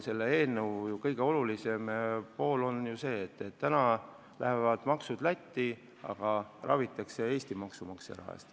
Selle eelnõu kõige olulisem ajend on ju tõsiasi, et meie maksud lähevad Lätti, aga meie inimesi ravitakse Eesti maksumaksja raha eest.